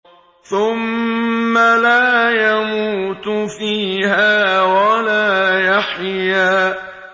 ثُمَّ لَا يَمُوتُ فِيهَا وَلَا يَحْيَىٰ